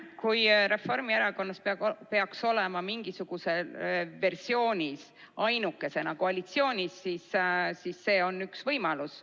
Kui Reformierakond peaks olema mingisuguses versioonis ainukesena koalitsioonis, siis see on üks võimalus.